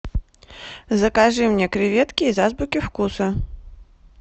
закажи мне креветки из азбуки вкуса